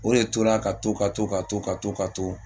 O de tora ka to ka to ka to ka to ka to